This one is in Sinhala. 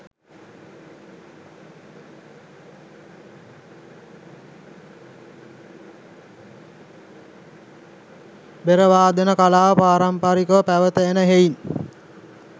බෙර වාදන කලාව පාරම්පරිකව පැවත එන හෙයින්